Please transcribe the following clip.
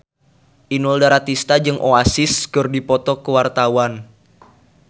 Inul Daratista jeung Oasis keur dipoto ku wartawan